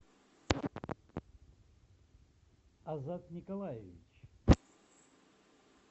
азат николаевич